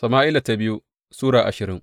biyu Sama’ila Sura ashirin